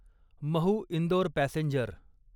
Mhow Indore passenger